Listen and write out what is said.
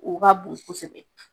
U ka